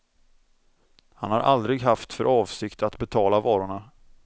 Han har aldrig haft för avsikt att betala varorna.